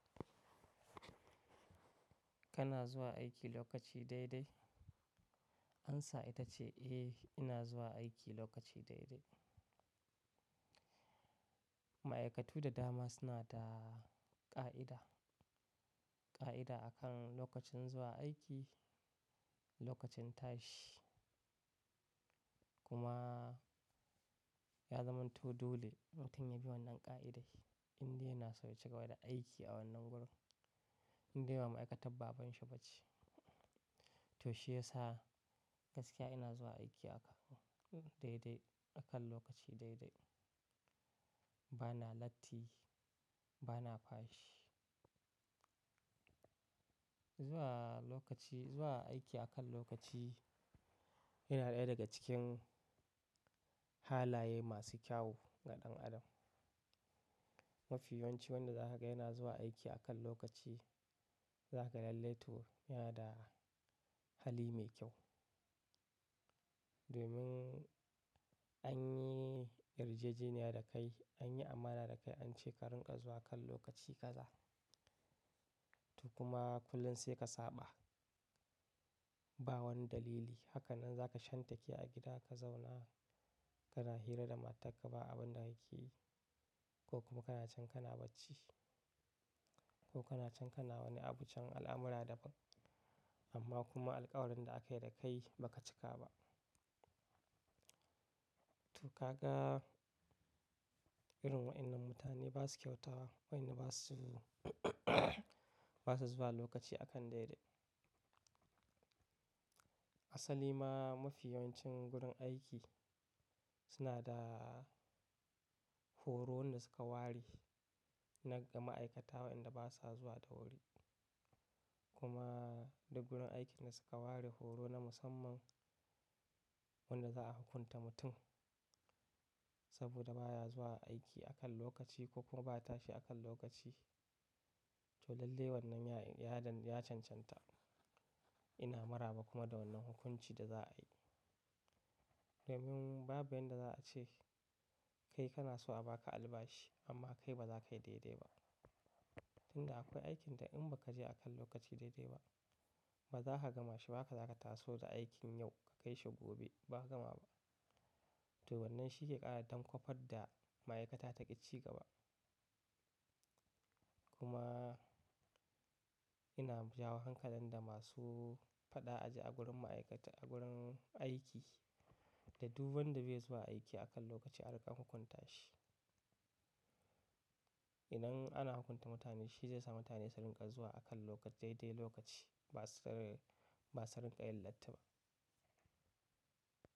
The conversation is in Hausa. Kana zuwa aiki lokaci daidai? Ansa ita ce eh, ina zuwa aiki lokaci daidai. Ma'aikatu da dama suna da ƙa'ida, ƙa'ida akan lokacin zuwa aiki, lokacin tashi kuma ya zamanto dole mutum ya bi wannan ƙa'idai in dai yana so ya cigaba da aiki a wannan gurin, in dai ba ma'aikatan baban shi ba ce. To shiyasa gaskiya ina zuwa aiki aka daidai, akan lokaci daidai. Ba na latti, ba na fashi. Zuwa lokaci, zuwa aiki akan lokaci yana ɗaya daga cikin halaye masu kyau ga ɗan adam. Mafi yancin wanda za ka ga yana zuwa aiki akan lokaci, za ka lallai tura da hali mai kyau. Domin an yi yarjejeniya da kai, an yi amana da kai an ce ka rinƙa zuwa kan lokaci kaza. To kuma kullum sai ka saba, ba wani dalili. Hakanan za ka shan take a gida ka zauna kana hira da matarka ba abin da yake yi ko kuma kana can kana bacci ko kana can kana wani abun can al'amura daban amma kuma alƙawarin da aka yi da kai ba ka cika ba. To ka ga irin waɗannan mutane ba su kyauta, wai ne ba su, ba sa zuwa lokaci akan daidai. Asali ma mafi yawancin gurin aiki suna da horo na suka ware na ga ma'aikata waɗanda ba sa zuwa da wuri. Kuma duk gurin aiki na suka ware horo na musamman wanda za a hukunta mutum saboda baya zuwa aiki akan lokaci ko kuma ba tashi akan lokaci. To lallai wannan ya, ya, ya cancanta. Ina maraba kuma da wannan hukunci da za a yi. Domin babu inda za a ce kai kana so a baka albashi amma kai ba za ka yi daidai ba. Tun da akwai aikin da in ba ka je akan lokaci daidai ba, ba za ka gama shi ba, ka za ka taso da aikin yau ka kai shi gobe ba ka gama ba. To wannan shi ke ƙara dan kwafar da ma'aikata ta ƙi cigaba. Kuma ina jawo hankalin da masu faɗa aji a gurin ma'aikata, a gurin aiki da duk wanda bai zuwa aiki akan lokaci aka hukunta shi. Idan ana hukunta mutane shi zai sa mutane su rinƙa zuwa akan lokaci daidai lokaci ba su, ba su rinƙayi lattaba.